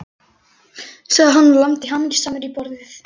sagði hann og lamdi hamingjusamur í borðið.